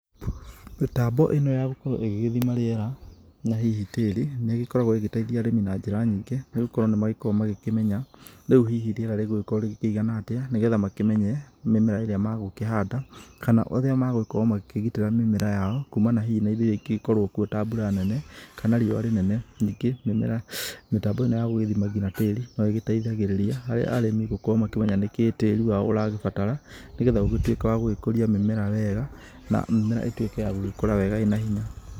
Mĩtambo ĩno ya gũkorwo ĩgĩgĩthĩma rĩera, na hihi tĩri, nĩ ĩgĩkoragwo ĩgĩteitha arĩmi na njĩra nyingĩ. Nĩgũkorwo nĩmagĩkoragwo magĩkĩmenya rĩũ hihi rĩera rĩgũgĩkorwa rĩigana atĩa. Nĩgetha makĩmenye mĩmera ĩrĩa magũkĩhanda, kana ũrĩa magũgĩkorwo makĩgitĩra mĩmera yao, kuumana hihi na indo iria ingĩgĩkorwao kuo ta hihi mbura nene, kana riũwa rĩnene. Ningĩ, mĩmera, mĩtambo ĩno ya gũgĩthima ngina tĩri no ĩgĩteithagĩrĩria harĩ arĩmi gũkorwo makĩmenya nĩkĩĩ tĩri wao ũrabatara, nĩgetha ũgĩtuĩke wa gũgĩkũria mĩmera wega, na mĩmera ĩtuĩke ya gũkũra wega ĩna hinya.